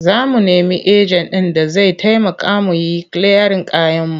Za mu nemi ejen ɗin da zai taimaka mu yi kiliyarin kayanmu.